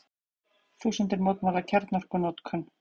Þúsundir mótmæla kjarnorkunotkun